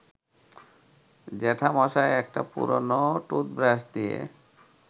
জ্যাঠামশায় একটা পুরনো টুথব্রাশ দিয়ে